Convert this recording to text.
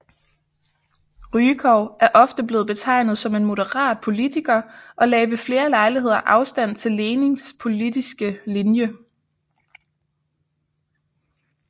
Rykov er ofte blevet betegnet som en moderat politiker og lagde ved flere lejligheder afstand til Lenins politiske linje